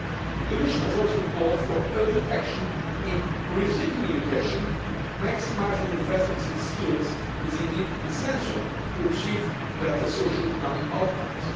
months. The Commission has also called for urgent action in rethinking education maximising the investments in skills is indeed essential to achieve better socioeconomic outcomes.